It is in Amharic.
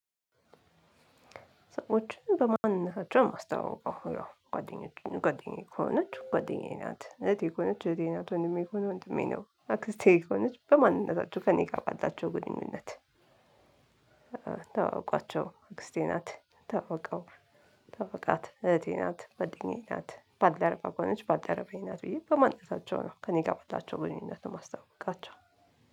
ሰዎችን በማንነታቸው ማስታዋውቀው ነው ጓደኛዬ ከሆነች ጓደኛዬ ናት እህቴ ከሆነች አህቴ ናት ወንድሜ ከሆነ ወንድሜ ነው አክስቴ ከሆነች አክስቴ ናት የሚሆነው በማንነታቸው ከእኔ ጋር ባላቸው ግንኙነት። ታውቋቸው አክስቴ ናት ታዋውቀው ታውቃት እህቴ ናት ጋደኝዬ ናት ባልደረባ ከሆነች ባልደረባዬ ናት ብዬ በማንነታቸው ነው ከእኔ ጋር ባላቸው ግንኙነት ነው የማስተዋውቃቸው።